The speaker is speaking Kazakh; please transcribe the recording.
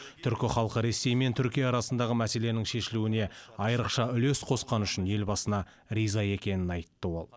түркі халқы ресей мен түркия арасындағы мәселенің шешілуіне айрықша үлес қосқаны үшін елбасына риза екенін айтты ол